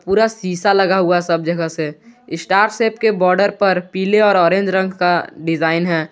पूरा शीशा लगा हुआ है सब जगह से स्टार शेप के बॉर्डर पर पीले और ऑरेंज रंग का डिजाइन है।